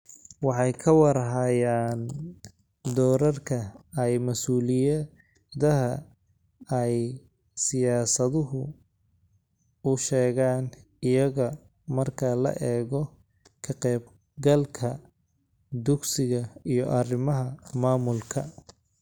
Waxay ka war hayaan doorarka iyo mas'uuliyadaha ay siyaasaduhu u sheegaan iyaga marka la eego ka-qaybgalka dugsiga iyo arrimaha maamulka.